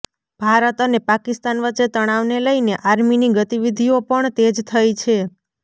ભારત અને પાકિસ્તાન વચ્ચે તણાવને લઈને આર્મીની ગતિવિધીઓ પણ તેજ થઈ છે